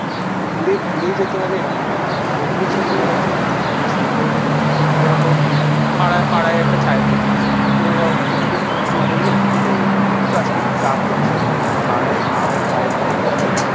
দূরে দূরেই যেতে হবে এরকম ব্যাপার না বন্ধুদের সাথে ঘোরার জন্য পাশে কোথাও যেতে পারি। যেরকম পাড়ায় পাড়ায় একটা চায়ের দোকান আছে। কোন ধর কোনদিন বন্ধু বললো যে চ আজকে একটু চা খেয়ে আসি। সেই পাড়ায় পাড়ার চায়ের দোকানে গিয়ে